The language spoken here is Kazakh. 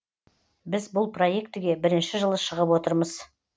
біз бұл проектіге бірінші жылы шығып отырмыз